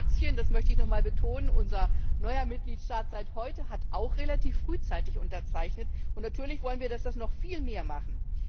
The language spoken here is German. Kroatien das möchte ich noch einmal betonen unser neuer Mitgliedstaat seit heute, hat auch relativ frühzeitig unterzeichnet, und natürlich wollen wir, dass das noch viele mehr machen.